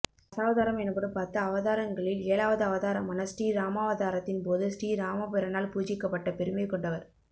தசாவதாரம் எனப்படும் பத்து அவதாரங்களில் ஏழாவது அவதாரமான ஸ்ரீராமாவதாரத்தின் போது ஸ்ரீராமபிரானால் பூஜிக்கப்பட்ட பெருமை கொண்டவர்